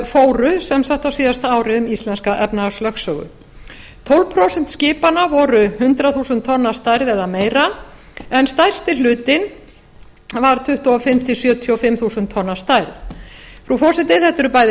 fóru sem sagt á síðasta ári um íslenska efnahagslögsögu tólf prósent skipanna voru hundrað þúsund tonn að stærð eða meira en stærsti hlutinn var tuttugu og fimm til sjötíu og fimm þúsund tonn að stærð frú forseti þetta eru bæði